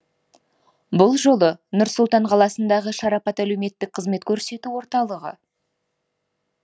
бұл жолы нұр сұлтан қаласындағы шарапат әлеуметтік қызмет көрсету орталығы